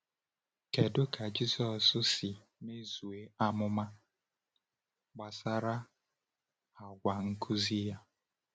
Kedu ka Jisọs si mezuo amụma gbasara àgwà nkuzi ya?